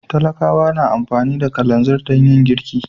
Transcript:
Talakawa na amfani da kalanzir dan yin girki.